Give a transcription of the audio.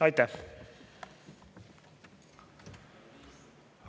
Aitäh!